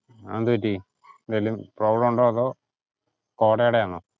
അതെന്തു പറ്റി എന്തേലും problem ഉണ്ടോ? അതോ? കോടെടെ ആണോ?